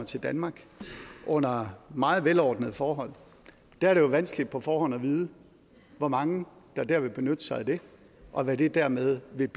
til danmark under meget velordnede forhold er det jo vanskeligt på forhånd at vide hvor mange der vil benytte sig af det og hvad det dermed vil